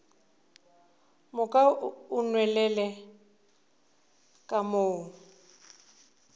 moka o nwelele ka mo